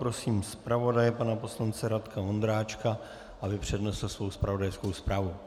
Prosím zpravodaje pana poslance Radka Vondráčka, aby přednesl svou zpravodajskou zprávu.